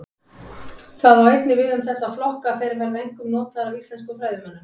Það á einnig við um þessa flokka að þeir verða einkum notaðir af íslenskum fræðimönnum.